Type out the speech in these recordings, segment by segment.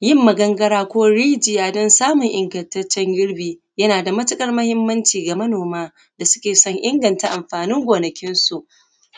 yin magangara ko rijiya don samun ingantaccen girbi yana da matuƙar muhimmanci ga manoma da suke son inganta amfanin gonakinsu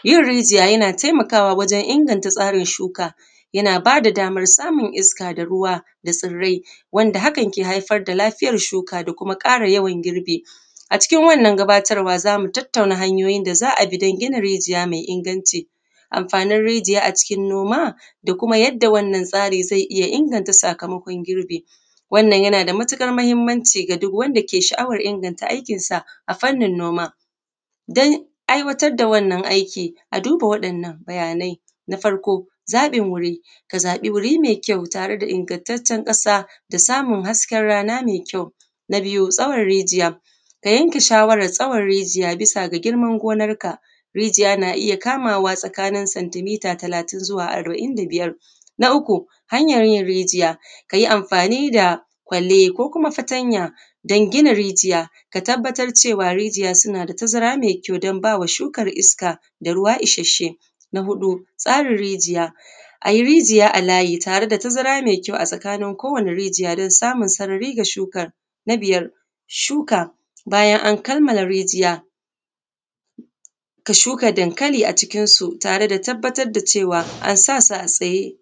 yin rijiya yana taimakawa a wajen inganta tsarin shuka yana ba da daman samun iska da ruwa da tsirrai wanda hakan ke haifar da lafiyan shuka da kuma ƙara yawan girbi a cikin wannan gabatarwa za mu tattauna hanyoyin da za a bi don gina rijiya mai inganci amfanin rijiya a cikin noma da kuma yadda wannan tsarin zai iya inganta sakamakon girbi wannan yana da matuƙar muhimmanci ga duk wanda ke da sha’awar inganta aikinsa a fannin noma don aiwatar da wannan aikin a duba wa'innan bayanai na farko zaɓin wuri ka zaɓi wuri mai kyau tare da ingantaccen ƙasa da samun hasken rana mai kyau na biyu tsaura rijiya ka yanke shawarar tsaura rijiya bisa ga girman gonan ka rijiya na iya kamawa zuwa santi mita talatin zuwa arba’in da biyar na uku hanyar yin rijiya ka yi amfani da kwalle ko kuma fatanya don gina rijiya ka tabbatar da rijiya suna da tazara mai kyau don ba wa shukan iska da ruwa isasshe na huɗu tsarin rijiya a yi rijiya a layi tare da tazara mai kyau a tsakanin ko wane rijiya don samun sarari ga shukan na biyar shuka bayan an kammala rijiya ka shuka dankali a cikin su tare da tabbatar da cewa ansa su a tsaye